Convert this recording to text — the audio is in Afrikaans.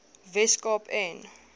wes kaap en